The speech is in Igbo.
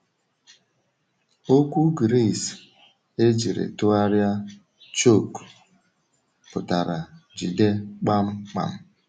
Okwu Gris e jiri tụgharịa um “choke” pụtara “jide kpamkpam.”